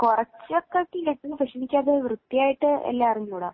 കുറച്ചൊക്കെ കേട്ടിരുന്നു പക്ഷെ വൃത്തിയായിട്ടു എല്ലാം അറിഞ്ഞുകൂടാ